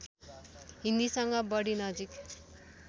हिन्दीसँग बढी नजिक